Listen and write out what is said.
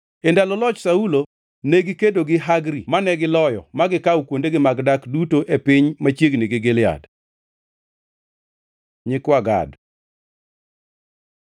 E ndalo loch Saulo, negikedo gi jo-Hagri mane giloyo ma gikawo kuondegi mag dak duto e piny machiegni gi Gilead. Nyikwa Gad